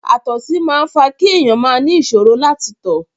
Àtọ̀sí máa ń fa kí èèyàn máa ni ìṣòro láti tọ̀.